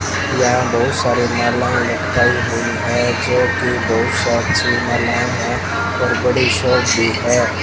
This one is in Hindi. यहां बहुत सारे मालाएं लटकाई हुईं है जो की है।